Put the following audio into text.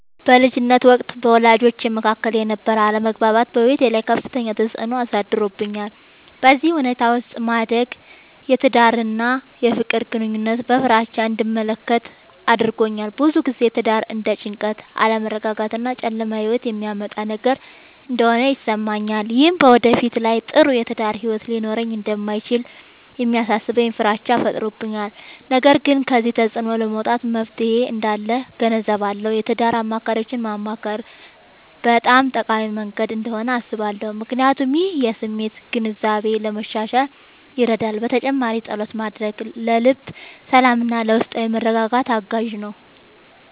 በልጅነቴ ወቅት በወላጆቼ መካከል የነበረ አለመግባባት በሕይወቴ ላይ ከፍተኛ ተፅዕኖ አሳድሮብኛል። በዚህ ሁኔታ ውስጥ ማደግ የትዳርን እና የፍቅር ግንኙነትን በፍራቻ እንድመለከት አድርጎኛል። ብዙ ጊዜ ትዳር እንደ ጭንቀት፣ አለመረጋጋት እና ጨለማ ሕይወት የሚያመጣ ነገር እንደሆነ ይሰማኛል። ይህም በወደፊት ላይ ጥሩ የትዳር ሕይወት ሊኖረኝ እንደማይችል የሚያሳስበኝ ፍራቻ ፈጥሮብኛል። ነገር ግን ከዚህ ተፅዕኖ ለመውጣት መፍትሔ እንዳለ እገነዘባለሁ። የትዳር አማካሪዎችን ማማከር በጣም ጠቃሚ መንገድ እንደሆነ አስባለሁ፣ ምክንያቱም ይህ የስሜት ግንዛቤን ለማሻሻል ይረዳል። በተጨማሪም ፀሎት ማድረግ ለልብ ሰላምና ለውስጣዊ መረጋጋት አጋዥ ነው።